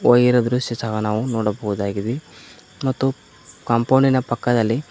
ಹೊಯ್ದಿರುವ ದೃಶ್ಯ ಕೂಡ ನಾವು ನೋಡಬಹುದಾಗಿದೆ ಮತ್ತು ಕಂಪೌಂಡಿನ ಪಕ್ಕದಲ್ಲಿ--